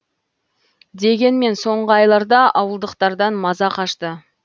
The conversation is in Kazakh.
дегенмен соңғы айларда ауылдықтардан маза қашты